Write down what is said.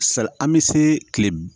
Sa an bi se kile